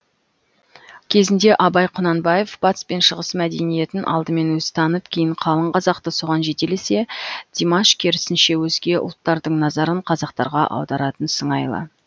кезінде абай құнанбаев батыс пен шығыс мәдениетін алдымен өзі танып кейін қалың қазақты соған жетелесе димаш керісінше өзге ұлттардың назарын қазақтарға аударатын сыңайлы